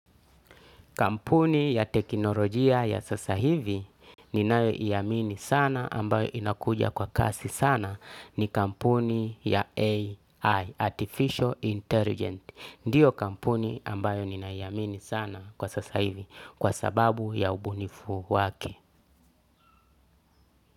Kampuni ya teknolojia ya sasa hivi ninayoiamini sana ambayo inakuja kwa kasi sana ni kampuni ya AI, Artificial Intelligence. Ndiyo kampuni ambayo ninaiamini sana kwa sasa hivi kwa sababu ya ubunifu wake.